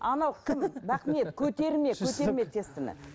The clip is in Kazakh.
анау кім бақниет көтерме көтерме тестаны